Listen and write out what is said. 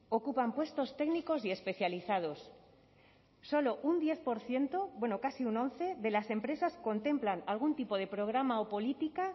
ocupan puestos técnicos y especializados solo un diez por ciento bueno casi un once de las empresas contemplan algún tipo de programa o política